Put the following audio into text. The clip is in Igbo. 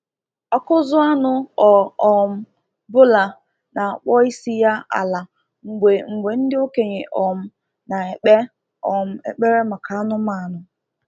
Ọkụzụ anụ ọ um bụla na-akpọ isi ya ala mgbe mgbe ndị okenye um na-ekpe um ekpere maka anụmanụ.